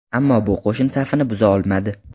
Ammo bu qo‘shin safini buza olmadi.